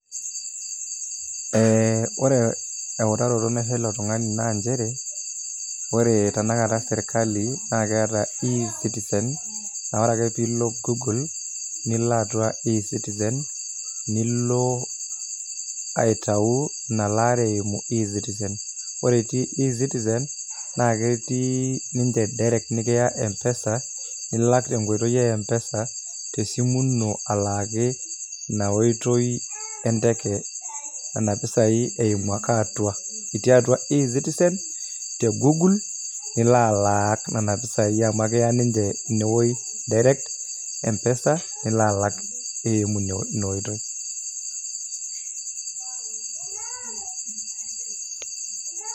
Ee ore eutaroto naisho ele tungani naa njere, ore tanakata sirkali naaketa E citizen naa ore ake piilo gugul nilo atua E citizen nilo aitau elaare e E citizen. Ore etii E citizen naa ketii ninje direct nikiya mpesa nilak kenkoito empesa tesimu ino alaaki ina oitoi enteke nena pisai eimu ake atua, itii atua E citizen te gugul nilo alak nena pisai amu ekiya ninje inewoji direct mpesa nilo alak eimu ina oitoi.